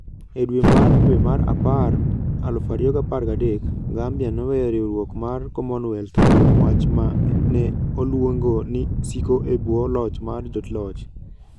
E dwe mar dwe mar apar 2013, Gambia noweyo riwruok mar Commonwealth kuom wach ma ne oluongo ni "siko e bwo loch mar joloch".